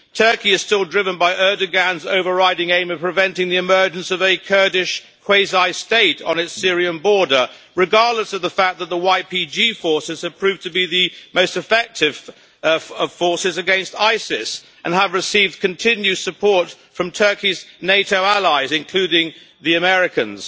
Turkey is still driven by Erdoğan's overriding aim of preventing the emergence of a Kurdish quasi-state on its Syrian border, regardless of the fact that the YPG forces have proved to be the most effective forces against ISIS and have received continuous support from Turkey's NATO allies, including the Americans.